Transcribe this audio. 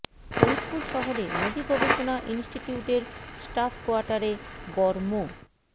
ফরিদপুর শহরে নদী গবেষণা ইনস্টিটিউটের স্টাফ কোয়াটারে বর মো